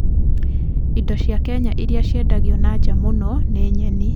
Indo cia Kenya iria ciendagio na nja muno na nyeni